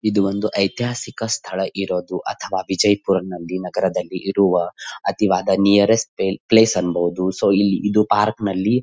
ಇದು ಒಂದು ಐತಿಹಾಸಿಕ ಸ್ಥಳ ಇರೋದು ಅಥವಾ ವಿಜಯಪುರ ನಲ್ಲಿ ನಗರದಲ್ಲಿ ಇರುವ ಅತಿಯಾದ ನಿಯರೆಸ್ಟ್ ಪ್ಲೇಸ್ ಅನ್ನಬಹುದು. ಸೊ ಇದು ಪಾರ್ಕ್ನಲ್ಲಿ --